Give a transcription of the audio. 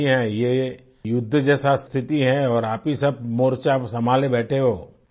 आपकी बात सही है ये युद्ध जैसा स्थिति है और आप ही सब मोर्चा संभाले बैठे हो